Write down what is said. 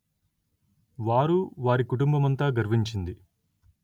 వారు వారి కుటుంబమంతా గర్వించింది